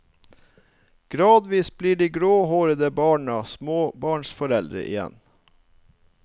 Gradvis blir de gråhårede barna småbarnsforeldre igjen.